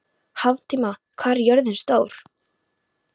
Hrafntinna, hvað er jörðin stór?